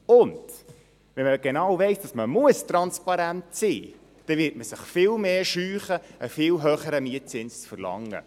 Und wenn man genau weiss, dass man transparent sein muss, wird man sich viel mehr scheuen, einen viel höheren Mietzins zu verlangen.